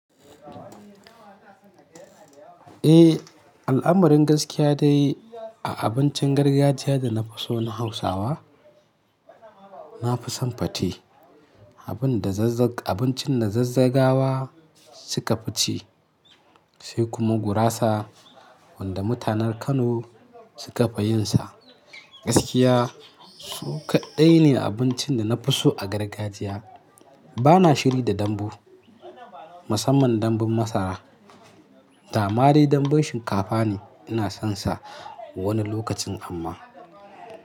Eh, al'amarin gaskiya dai a abincin gargajiya da na fi so na Hausawa, na fi son pate, abincin da Zazzagawa suka fi ci, sai kuma gurasa wanda mutanen Kano suka fi yinsa. Gaskiya su kaɗai ne abincin da na fi so a gargajiya. Bana shiri da dambu, musamman danbun masara. Dama dai danbun shinkafa ne, ina sonsa wani lokacin amma.